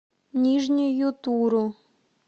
нижнюю туру